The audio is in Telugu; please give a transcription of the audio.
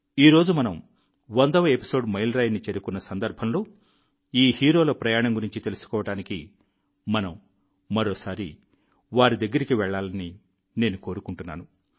ఈ రోజు మనం వందవ ఎపిసోడ్ మైలురాయిని చేరుకున్న సందర్భంలో ఈ హీరోల ప్రయాణం గురించి తెలుసుకోవడానికి మనం మరోసారి వారి దగ్గరికి వెళ్లాలని నేను కోరుకుంటున్నాను